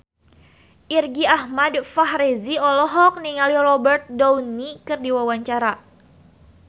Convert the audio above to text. Irgi Ahmad Fahrezi olohok ningali Robert Downey keur diwawancara